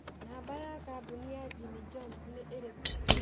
Namba ya kambũni ya Jimmy Johns nĩ ĩrĩkũ